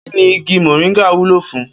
Kíni igi mò̩ríńgà wúlò fún?